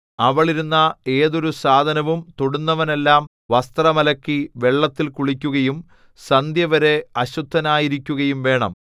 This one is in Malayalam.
അവൾ ഇരുന്ന ഏതൊരു സാധനവും തൊടുന്നവനെല്ലാം വസ്ത്രം അലക്കി വെള്ളത്തിൽ കുളിക്കുകയും സന്ധ്യവരെ അശുദ്ധനായിരിക്കുകയും വേണം